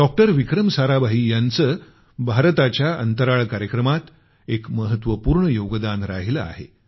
doctor Vikram Sarabhai यांचं भारताच्या अंतराळ कार्यक्रमात एक महत्वपूर्ण योगदान राहिलं आहे